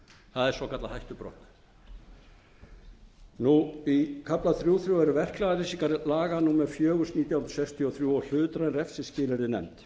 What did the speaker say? það er svokallað hættubrot í kafla þrjú fjögur eru verknaðarlýsingar laga númer fjögur nítján hundruð sextíu og þrjú og hlutræn refsiskilyrði nefnd